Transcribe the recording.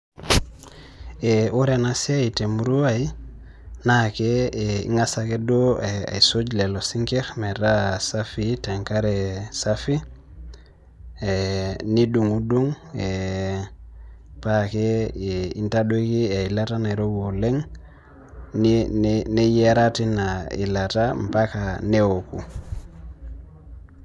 Ore enasiai temurua ai, naa ing'asa ake duo aisuj lelo sinkirr metaa safii tenkare safi, nidung'dung, pake intadoki eilata nairowua oleng, neyiara tina ilata, mpaka neoku.